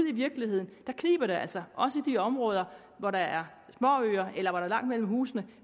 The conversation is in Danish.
i virkeligheden kniber det altså også i de områder hvor der er småøer eller hvor der er langt mellem husene